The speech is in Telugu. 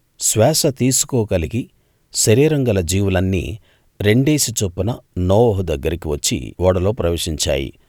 శ్వాస తీసుకోగలిగి శరీరం గల జీవులన్నీరెండేసి చొప్పున నోవహు దగ్గరికి వచ్చి ఓడలో ప్రవేశించాయి